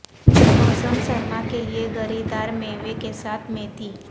موسم سرما کے لئے گری دار میوے کے ساتھ میٹھی